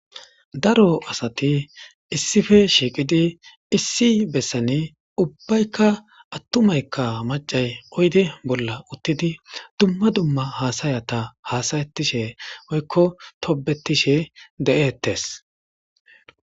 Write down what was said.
daro asati issife shiiqidi issi bessani ubbaykka attumaykka macay oyde bolla uttidi dumma dumma haasayata haasayatishe oykko tobetishe de7ettes